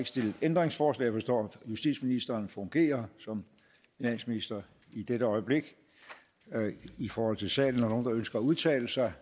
stillet ændringsforslag jeg forstår at justitsministeren fungerer som finansminister i dette øjeblik i forhold til salen er ønsker at udtale sig